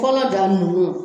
Kɔnɔ da munun an